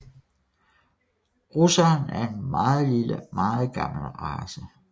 Russeren er en meget lille og meget gammel race